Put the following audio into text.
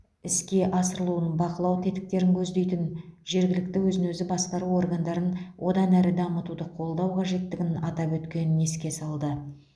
іске асырылуын бақылау тетіктерін көздейтін жергілікті өзін өзі басқару органдарын одан әрі дамытуды қолдау қажеттігін атап өткенін еске салды